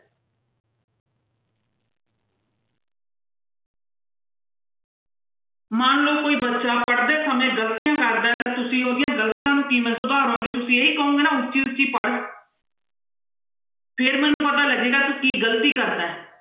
ਮੰਨ ਲਓ ਕੋਈ ਬੱਚਾ ਪੜ੍ਹਦੇ ਸਮੇਂ ਗ਼ਲਤੀਆਂ ਕਰਦਾ ਤੇ ਤੁਸੀਂ ਉਹਦੀਆਂਂ ਗ਼ਲਤੀਆਂ ਨੂੰ ਕਿਵੇਂ ਸੁਧਾਰੋਂਗੇ ਤੁਸੀਂ ਇਹੀ ਕਹੋਂਗੇ ਨਾ ਉੱਚੀ ਉੱਚੀ ਪੜ੍ਹ ਫਿਰ ਮੈਨੂੰ ਪਤਾ ਲੱਗੇਗਾ ਤੂੰ ਕੀ ਗ਼ਲਤੀ ਕਰਦਾ ਹੈ।